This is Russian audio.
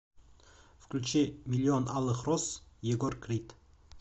включи миллион алых роз егор крид